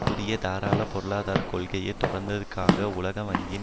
புதிய தாராளப் பொருளாதார கொள்கையை தொடர்ந்ததற்காக உலக வங்கியின்